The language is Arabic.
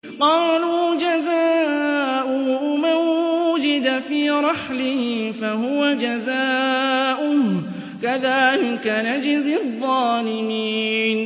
قَالُوا جَزَاؤُهُ مَن وُجِدَ فِي رَحْلِهِ فَهُوَ جَزَاؤُهُ ۚ كَذَٰلِكَ نَجْزِي الظَّالِمِينَ